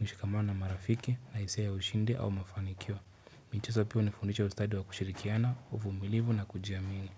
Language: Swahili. mshikamano na marafiki na hisia ya ushindi au mafanikio. Michezo pio hunifundisha ustadi wa kushirikiana, uvumilivu na kujiamini.